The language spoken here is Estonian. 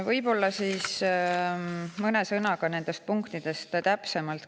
Võib-olla mõne sõnaga nendest punktidest täpsemalt.